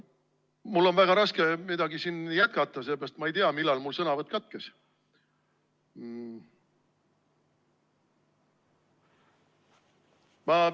Mul on väga raske midagi jätkata, sest ma ei tea, millal mu sõnavõtt katkes.